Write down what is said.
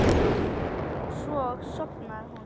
Og svo sofnaði hún.